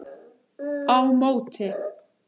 Á móti